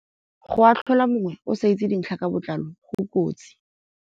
Go atlhola mongwe o sa itse dintlha ka botlalo go kotsi.